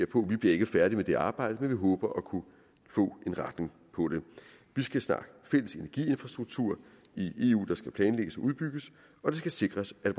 på vi bliver ikke færdige med det arbejde men vi håber at kunne få en retning på det vi skal snakke fælles energiinfrastruktur i eu der skal planlægges og udbygges og det skal sikres at